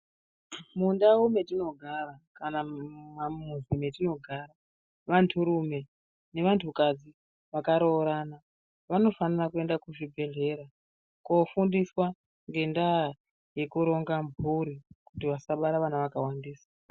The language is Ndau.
Mundau mwetinogara kana mumamizi mwetinogara vanhurume nevanhukadzi vakaroorana vanofanire kuenda kuzvibhedhlera koofundiswa ngendaa yekuronga mhuri kuti vasabare vana zvakawandisa.